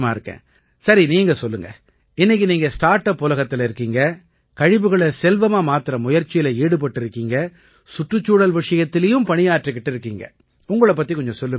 சரி நீங்க சொல்லுங்க இன்னைக்கு நீங்க ஸ்டார்ட் அப் உலகத்தில இருக்கீங்க கழிவுகளை செல்வமா மாத்தற முயற்சியில ஈடுபட்டிருக்கீங்க சுற்றுச்சூழல் விஷயத்திலயும் பணியாற்றிக்கிட்டு இருக்கீங்க உங்களைப் பத்திக் கொஞ்சம் சொல்லுங்களேன்